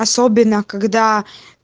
особенно когда